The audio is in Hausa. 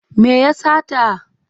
Me ya sata?